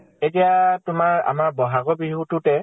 এইয়া তোমাৰ আমাৰ বʼহাগৰ বিহুটোতে